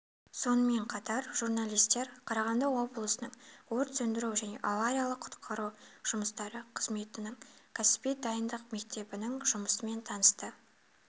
сонымен қатар журналистер қарағанды облысының өрт сөндіру және авариялық-құтқару жұмыстары қызметінің кәсіби дайындық мектебінің жұмысымен танысты